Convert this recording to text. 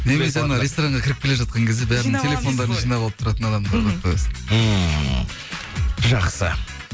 немесе анау ресторанға кіріп келе жатқан кезде бәрінің телефондарын жинап алып тұратын адамдарды қойып қоясың ммм жақсы